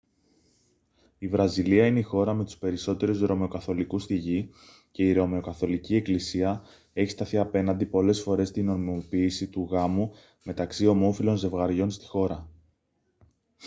η βραζιλία είναι η χώρα με τους περισσότερους ρωμαιοκαθολικούς στη γη και η ρωμαιοκαθολική εκκλησία έχει σταθεί απέναντι πολλές φορές στη νομιμοποίηση του γάμου μεταξύ ομόφυλων ζευγαριών στη χώρα